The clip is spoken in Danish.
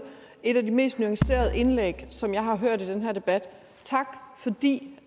et af de mest nuancerede indlæg som jeg har hørt i den her debat tak fordi